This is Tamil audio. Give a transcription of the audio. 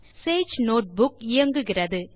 சேஜ் நோட்புக் இயங்குகிறது